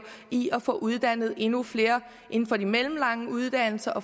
i at få uddannet endnu flere inden for de mellemlange uddannelser og